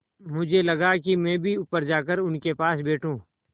मुझे लगा कि मैं भी ऊपर जाकर उनके पास बैठूँ